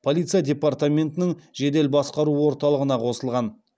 полиция департаментінің жедел басқару орталығына қосылған